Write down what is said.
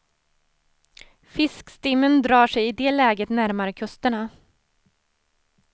Fiskstimmen drar sig i det läget närmare kusterna.